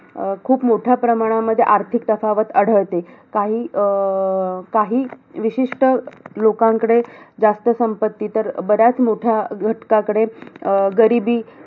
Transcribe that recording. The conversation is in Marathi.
एकवीस दिवसात वाचलेलं तर त्याच्यात सुरुवातीपासून तरी रायरेश्वराची इकडे शपथ घेतलेली तेव्हापासून